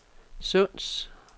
Sunds